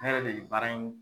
Ne yɛrɛ de baara in